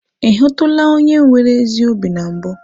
Ị hụtụla onye nwere ezi obi na mbụ?